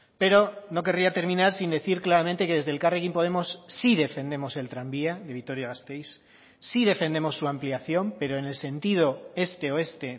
pero no querría terminar sin decir claramente que desde elkarrekin podemos sí defendemos el tranvía de vitoria gasteiz sí defendemos su ampliación pero en el sentido este oeste